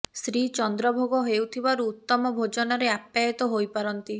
ଶ୍ରୀ ଚନ୍ଦ୍ର ଭୋଗ ହେଉଥିବାରୁ ଉତ୍ତମ ଭୋଜନରେ ଆପ୍ୟାୟିତ ହୋଇପାରନ୍ତି